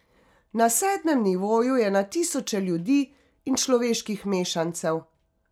Na sedmem nivoju je na tisoče ljudi in človeških mešancev.